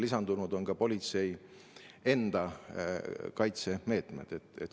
Lisandunud on ka politsei enda kaitse meetmed.